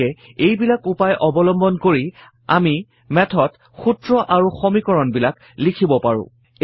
গতিকে এইবিলাক উপায় অৱলম্বন কৰি আমি Math ত সূত্ৰ আৰু সমীকৰণবিলাক লিখিব পাৰো